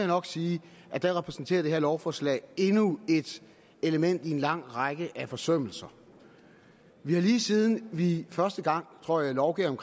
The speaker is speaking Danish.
nok sige at der repræsenterer det her lovforslag endnu et element i en lang række af forsømmelser vi har lige siden vi første gang tror jeg lovgav